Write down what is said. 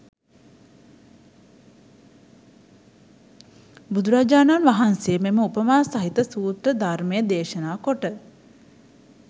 බුදුරජාණන් වහන්සේ මෙම උපමා සහිත සූත්‍ර ධර්මය දේශනා කොට